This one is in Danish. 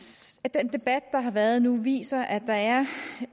den debat der har været nu viser at der er